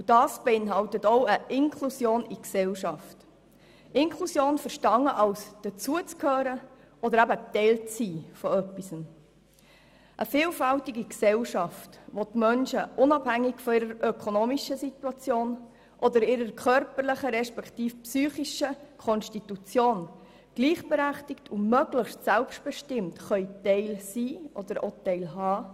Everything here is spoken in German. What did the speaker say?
Dies beinhaltet auch eine Inklusion in die Gesellschaft – Inklusion verstanden als Zugehörigkeit oder Teil von etwas zu sein, nämlich einer vielfältigen Gesellschaft, die die Menschen unabhängig von ihrer ökonomischen Situation oder ihrer körperlichen respektive psychischen Konstitution gleichberechtigt, sodass diese möglichst selbstbestimmt Teil sind oder teilhaben können.